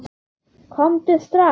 Komdu strax!